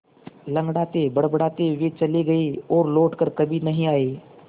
लँगड़ाते बड़बड़ाते वे चले गए और लौट कर कभी नहीं आए